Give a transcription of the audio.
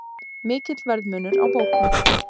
Mikill verðmunur á bókum